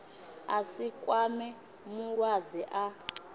a si kwame mulwadze a